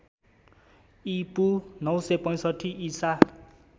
ईपू ९६५ ईसा